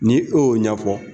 Ni e y'o ɲɛfɔ